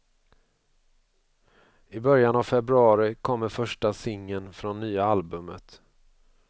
I början av februari kommer första singeln från nya albumet.